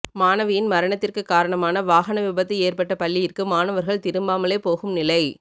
மாணவியின் மரணத்திற்கு காரணமான வாகன விபத்து ஏற்பட்ட பள்ளியிற்கு மாணவர்கள் திரும்பாமலே போகும் நிலை